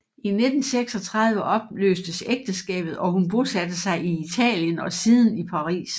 I 1936 opløstes ægteskabet og hun bosatte sig i Italien og siden i Paris